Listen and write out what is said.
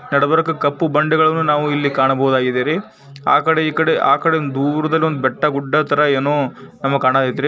ನಡಬರ್ಕ ಕಪ್ಪು ಬಂದೆಗಳನ್ನ ನಾವು ಇಲ್ಲಿ ಕಾಣಬಹುದಾಗಿದೇರಿ ಆ ಕಡೆ ಈ ಕಡೆ ಆ ಕಡೆ ದೂರದಲ್ಲಿ ಒಂದು ಬೆಟ್ಟ ಗುಡ್ಡ ತರ ಏನೋ ಒಂದು ಕಾಣ್ತೈತೆ ರೀ.